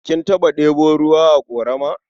Kin taɓa ɗebo ruwa a ƙorama?